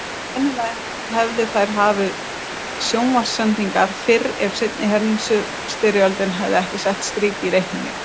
Sennilega hefðu þær hafið sjónvarpssendingar fyrr ef seinni heimstyrjöldin hefði ekki sett strik í reikninginn.